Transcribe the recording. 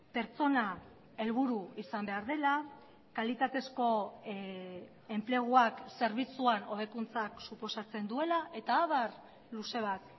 pertsona helburu izan behar dela kalitatezko enpleguak zerbitzuan hobekuntzak suposatzen duela eta abar luze bat